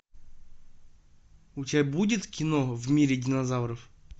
у тебя будет кино в мире динозавров